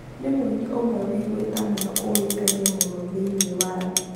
nĩ mũini ũmwe wĩ ĩgweta mũno ũĩkaine mũno thĩinĩ wa thĩ